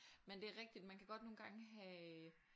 Men det er rigtigt man kan godt nogle gange have